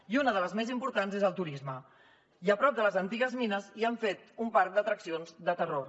i una de les més importants és el turisme i a prop de les antigues mines hi han fet un parc d’atraccions de terror